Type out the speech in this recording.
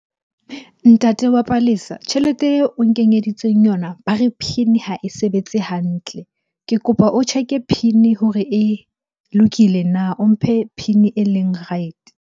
Ntate wa Palesa tjhelete eo o nkenyeditseng yona ba re PIN ha e sebetse hantle. Ke kopa o check-e PIN hore e lokile na? O mphe PIN e leng right-e.